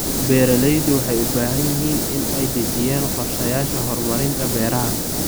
Beeraleydu waxay u baahan yihiin inay dejiyaan qorshayaasha horumarinta beeraha.